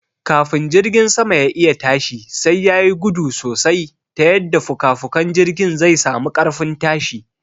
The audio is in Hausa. Kafin jirgin sama ya'iya tashi sai yayi gudu sosai ta yadda fukafukan jirgin zai sami ƙarfin tashi